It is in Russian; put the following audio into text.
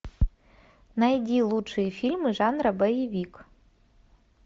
найди лучшие фильмы жанра боевик